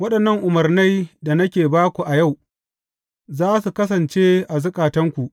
Waɗannan umarnai da nake ba ku a yau, za su kasance a zukatanku.